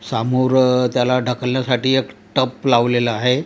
समोर त्याला ढकलण्यासाठी एक टप लावलेला आहे.